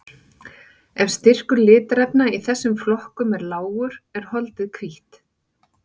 Ef styrkur litarefna í þessum flokkum er lágur er holdið hvítt.